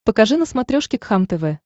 покажи на смотрешке кхлм тв